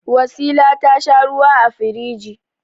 Wasila ta sha ruwa a firigi.